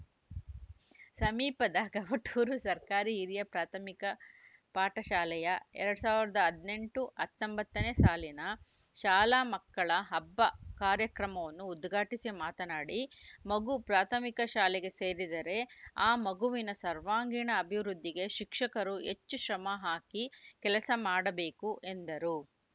ಸಮೀಪದ ಗವಟೂರು ಸರ್ಕಾರಿ ಹಿರಿಯ ಪ್ರಾಥಮಿಕ ಪಾಠಶಾಲೆಯ ಎರಡ್ ಸಾವಿರದ ಹದಿನೆಂಟು ಹತ್ತೊಂಬತ್ತ ನೇ ಸಾಲಿನ ಶಾಲಾ ಮಕ್ಕಳ ಹಬ್ಬ ಕಾರ್ಯಕ್ರಮವನ್ನು ಉದ್ಘಾಟಿಸಿ ಮಾತನಾಡಿ ಮಗು ಪ್ರಾಥಮಿಕ ಶಾಲೆಗೆ ಸೇರಿದರೆ ಆ ಮಗುವಿನ ಸರ್ವಾಂಗೀಣ ಅಭಿವೃದ್ಧಿಗೆ ಶಿಕ್ಷಕರು ಹೆಚ್ಚು ಶ್ರಮ ಹಾಕಿ ಕೆಲಸ ಮಾಡಬೇಕು ಎಂದರು